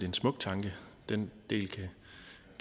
en smuk tanke den del kan